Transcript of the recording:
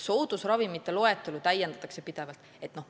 Soodusravimite loetelu täiendatakse pidevalt.